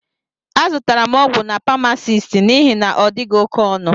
Azutara m ọgwụ n' pamasist n'ihi na odighi oké ọnụ.